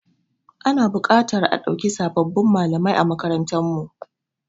Ana buƙatar a dauki sababbin malamai a makarantarmu.